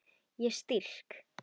Ég strýk.